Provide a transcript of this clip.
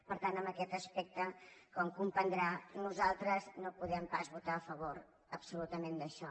per tant en aquest aspecte com comprendrà nosaltres no podem pas votar a favor absolutament d’això